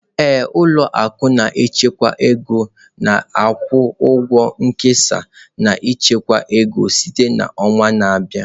Ee, ụlọ akụ na-echekwa ego ga-akwụ ụgwọ nkesa na ichekwa ego site na ọnwa na-abịa